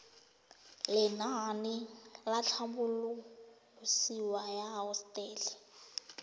lenaane la tlhabololosewa ya hosetele